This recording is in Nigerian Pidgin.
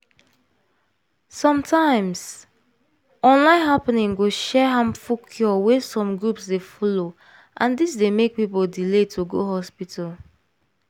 sometimes online happening go share harmful cure wey some groups dey follow and dis d make people delay to go hospital.